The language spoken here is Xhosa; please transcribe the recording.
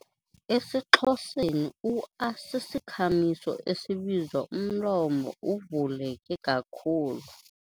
EsiXhoseni u-a sisikhamiso esibizwa umlomo uvuleke kakhulu.